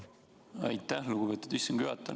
Aitäh, lugupeetud istungi juhataja!